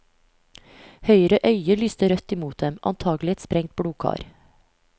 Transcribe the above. Høyre øye lyste rødt imot dem, antakelig et sprengt blodkar.